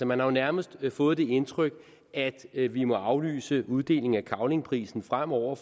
man har jo nærmest fået det indtryk at vi vi må aflyse uddelingen af cavlingprisen fremover